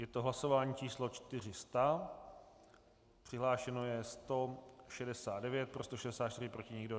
Je to hlasování číslo 400, přihlášeno je 169, pro 164, proti nikdo.